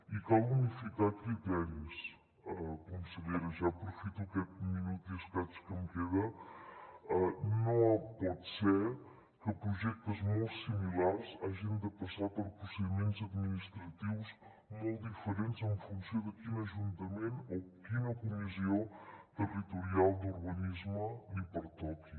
i cal unificar criteris consellera ja aprofito aquest minut i escaig que em queda no pot ser que projectes molt similars hagin de passar per procediments administratius molt diferents en funció de quin ajuntament o quina comissió territorial d’urbanisme li pertoqui